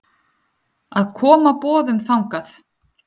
að koma boðum þangað.